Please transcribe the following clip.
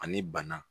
Ani bana